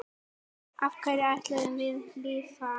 Á hverju ætlarðu að lifa?